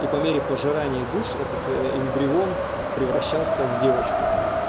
и по мере пожирания душ этот эмбрион превращался в девочку